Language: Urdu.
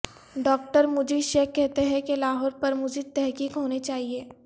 ڈاکٹر مجید شیخ کہتے ہیں کہ لاہور پر مزید تحقیق ہونی چاہیے